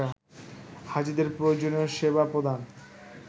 হাজীদের প্রয়োজনীয় সেবা প্রদান